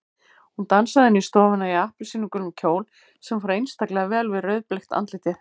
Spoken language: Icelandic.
Hún dansaði inn í stofuna í appelsínugulum kjól sem fór einstaklega vel við rauðbleikt andlitið.